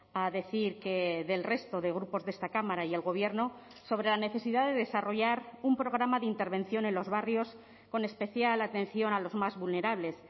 a decir que del resto de grupos de esta cámara y el gobierno sobre la necesidad de desarrollar un programa de intervención en los barrios con especial atención a los más vulnerables